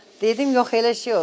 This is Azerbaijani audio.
Dedim yox, elə şey olar.